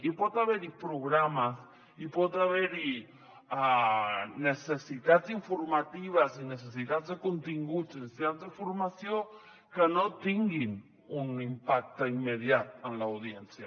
i pot haver hi programes i pot haver hi necessitats informatives i necessitats de continguts i necessitats de formació que no tinguin un impacte immediat en l’audiència